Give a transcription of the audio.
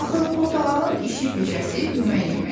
Axı portağalın işi-peşəsi yemək yeməkdir.